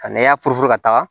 Ka nɛya ka taga